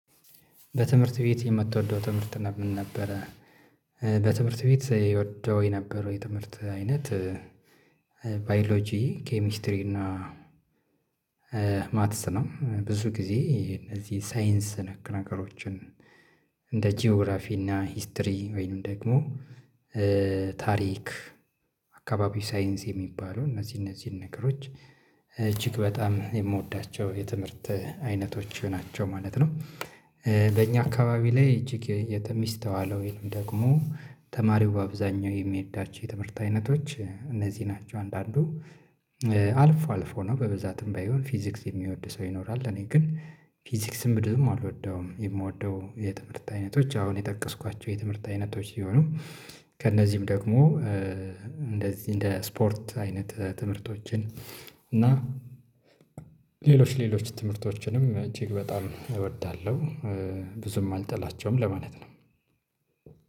በትምህርት ቤት የምትወደው ትምህርት ምን ነበረ? በትምህርት ቤት ይወደው የነበረው የትምህርት አይነት ባዮሎጂ ኬሚስትሪ እና ማትስ ነው ብዙ ግዜ እነዚህ ሳይንስ ነክ ነገሮችን እንደ ጂኦግራፊ እና ሂስትሪ ወይንም ደግሞ ታሪክ አካባቢ ሳይንስ የሚባለው እነዚህ እነዚህን ነገሮች እጅግ በጣም የምወዳቸው የትምህርት አይነቶች ናቸው ማለት ነው። በእኛ አካባቢ ላይ እጅግ የተ ሚስተዋለው ወይንም ደግሞ ተማሪው በአብዛኛው የሚወዳቸው የትምህርት አይነቶች እነዚህ ናቸው። አንዳንዱ አልፎ አልፎ ነው በብዛትም ባይሆን ፊዚክስ የሚወድ ሰው ይኖራል። ለኔ ግን ፊዚክስም ብዙም አልወደውም የምወደው የትምህርት አይነቶች አሁን የጠቀስኳቸው የትምህርት አይነቶች ሲሆኑ። ከእነዚህም ደግሞ እንደዚህ እንደ ስፖርት አይነት ትምህርቶችን እና ሌሎች ሌሎች ትምህርቶችንም እጅግ በጣም እወዳለሁ። ብዙም አልጠላቸውም ለማለት ነው።